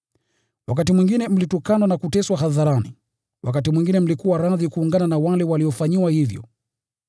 Wakati mwingine mlitukanwa na kuteswa hadharani; wakati mwingine mlikuwa radhi kuungana na wale waliofanyiwa hivyo.